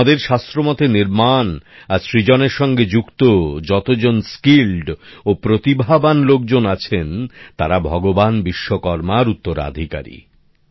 আমাদের শাস্ত্র মতে নির্মাণ আর সৃজনের সঙ্গে যুক্ত যত দক্ষ ও প্রতিভাবান লোকজন আছেন তারা ভগবান বিশ্বকর্মার উত্তরাধিকারী